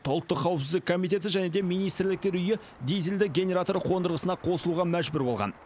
ұлттық қауіпсіздік комитеті және де министрліктер үйі дизельді генератор қондырғысына қосылуға мәжбүр болған